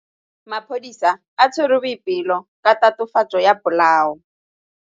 Maphodisa a tshwere Boipelo ka tatofatsô ya polaô.